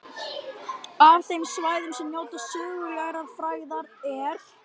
Af þeim svæðum sem njóta sögulegrar frægðar er